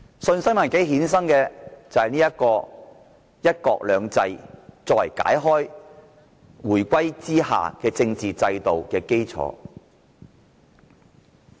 信心危機衍生的是"一國兩制"，用以作為回歸後的政治制度基礎。